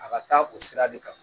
A ka taa o sira de kan